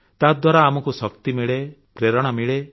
ତାଦ୍ୱାରା ଆମକୁ ଶକ୍ତି ମିଳେ ପ୍ରେରଣା ମିଳେ